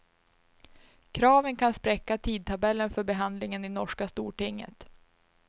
Kraven kan spräcka tidtabellen för behandlingen i norska stortinget.